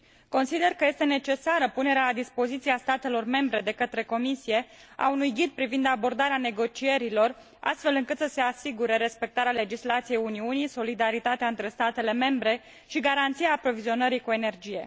Consider că este necesară punerea la dispoziția statelor membre de către Comisie a unui ghid privind abordarea negocierilor, astfel încât să se asigure respectarea legislației Uniunii, solidaritatea între statele membre și garanția aprovizionării cu energie.